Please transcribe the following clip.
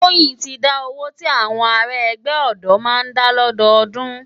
Toyin ti dá ówó ti áwòn àrá ègbè òdò má n dá lòdódùn